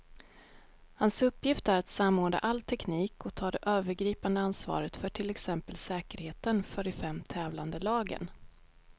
Hans uppgift är att samordna all teknik och ta det övergripande ansvaret för till exempel säkerheten för de fem tävlande lagen.